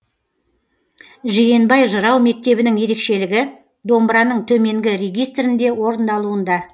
жиенбай жырау мектебінің ерекшелігі домбыраның төменгі регистрінде орындалуында